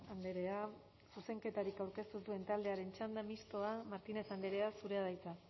andrea zuzenketarik aurkeztu ez duen taldearen txanda mistoa martínez andrea zurea da hitza